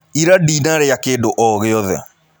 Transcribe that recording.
Ira ndinarĩa kĩndũ o gĩothe.